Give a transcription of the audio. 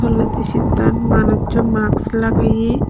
tolendi seattan manuccho masks lageye.